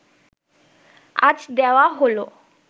আজ দেওয়া হলো